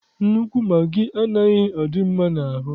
Nnukwu magị anaghị adị mma n'ahụ.